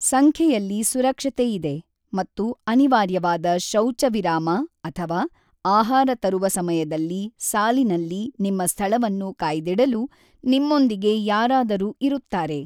ಸಂಖ್ಯೆಯಲ್ಲಿ ಸುರಕ್ಷತೆ ಇದೆ ಮತ್ತು ಅನಿವಾರ್ಯವಾದ ಶೌಚ ವಿರಾಮ ಅಥವಾ ಆಹಾರ ತರುವ ಸಮಯದಲ್ಲಿ ಸಾಲಿನಲ್ಲಿ ನಿಮ್ಮ ಸ್ಥಳವನ್ನು ಕಾಯ್ದಿಡಲು ನಿಮ್ಮೊಂದಿಗೆ ಯಾರಾದರೂ ಇರುತ್ತಾರೆ.